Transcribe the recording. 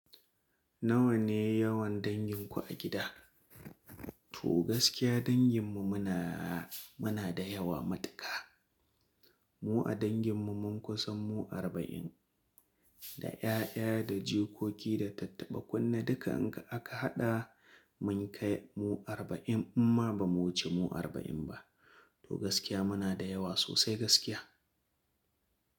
Nawa ne yawan danginku a gida? To gaskiya danginmu muna da yawa matuƙa. Mu a danginmu mun kusan mu arba'in, da 'ya'ya da jikoki da tattaɓa kunne duka in aka haɗa mun kai mu arba'in idan ma ba mu wuce mu arba'in ba. To gaskiya muna da yawa sosai gaskiya.